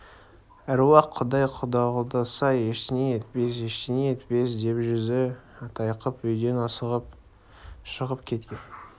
әруақ-құдай қолдаса ештеңе етпес ештеңе етпес деп жүзі тайқып үйден асығыс шығып кеткен